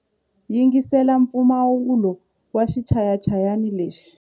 Yingisela mpfumawulo wa xichayachayani lexi.